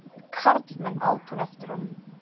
Karlmenn! át hún eftir honum.